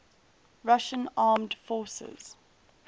russian armed forces